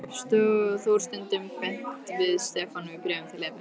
Þór stundum beint við Stefán í bréfum til Evu.